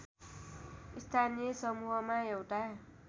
स्थानीय समूहमा एउटा